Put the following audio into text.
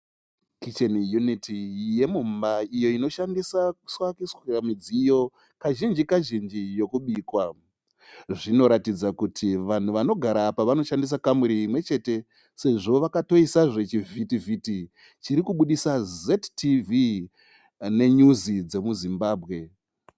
Kicheni uniti yemumba iyo inoshandiswa kuiswa midziyo kazhinji -kazhinji yekubikwa. Zvinoratidza kuti vanhu vanogara apa vanoshandisa kamuri imwechete sezvo vakotoisa zve chivhiti-vhiti chiri kubudisa ' ZTV' nenyuzi dzemuZimbabwe.